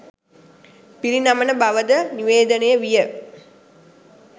පිරිනමන බවද නිවේදනය විය